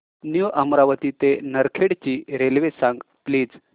new Amravati ते नरखेड ची railway सांग प्लीज